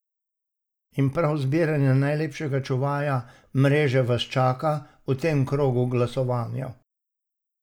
In prav izbiranje najlepšega čuvaja mreže vas čaka v tem krogu glasovanja!